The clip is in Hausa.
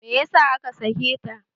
Meyasa aka sake ta?